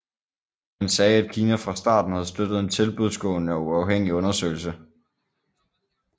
Han sagde at Kina fra starten havde støttet en tilbudsgående og uafhængig undersøgelse